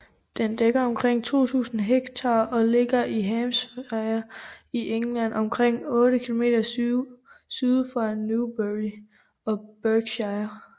Den dækker omkring 2000 hektar og ligger i Hampshire i England omkring 8 km syd for Newbury i Berkshire